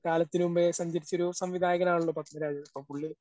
കാലത്തിനു മുമ്പേ സഞ്ചരിച്ചൊരു സംവിധായകനാണല്ലോ പത്മരാജൻ. അപ്പ പുള്ളി